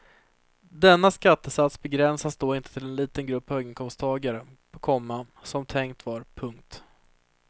Denna skattesats begränsas då inte till en liten grupp höginkomsttagare, komma som tänkt var. punkt